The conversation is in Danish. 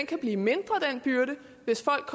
kan blive mindre hvis folk